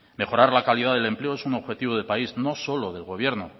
mejorar la calidad del empleo es un objetivo de país no solo del gobierno